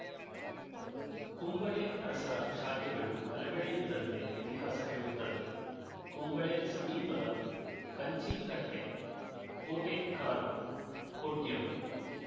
ಕುಂಬಳೆ ಅರಸರ ಶಾಖೆಗಳು ಹಲವೆಡೆ ಇದ್ದಂತೆ ಇತಿಹಾಸ ಹೇಳುತ್ತದೆ ಕುಂಬಳೆ ಸಮೀಪದ ಕಂಚಿಕಟ್ಟೆ ಕೋಟೆಕ್ಕಾರು ಕೊಡ್ಯಮೆ